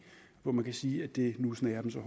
hvor man kan sige at det nu snærer så